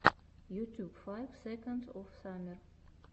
ютюб файв секондс оф саммер